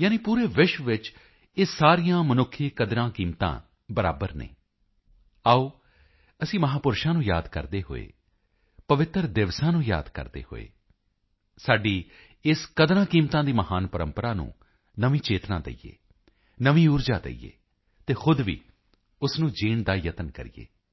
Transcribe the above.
ਯਾਨਿ ਪੂਰੇ ਵਿਸ਼ਵ ਵਿੱਚ ਇਹ ਸਾਰੀਆਂ ਮਨੁੱਖੀ ਕਦਰਾਂਕੀਮਤਾਂ ਬਰਾਬਰ ਹਨ ਆਓ ਅਸੀਂ ਮਹਾਪੁਰਸ਼ਾਂ ਨੂੰ ਯਾਦ ਕਰਦੇ ਹੋਏ ਪਵਿੱਤਰ ਦਿਵਸਾਂ ਨੂੰ ਯਾਦ ਕਰਦੇ ਹੋਏ ਸਾਡੀ ਇਸ ਕਦਰਾਂਕੀਮਤਾਂ ਦੀ ਮਹਾਨ ਪ੍ਰੰਪਰਾ ਨੂੰ ਨਵੀਂ ਚੇਤਨਾ ਦਈਏ ਨਵੀਂ ਊਰਜਾ ਦਈਏ ਅਤੇ ਖੁਦ ਵੀ ਉਸ ਨੂੰ ਜੀਣ ਦਾ ਯਤਨ ਕਰੀਏ